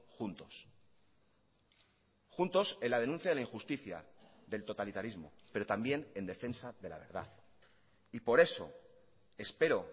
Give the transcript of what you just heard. juntos juntos en la denuncia de la injusticia del totalitarismo pero también en defensa de la verdad y por eso espero